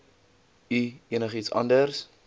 u enigiets anders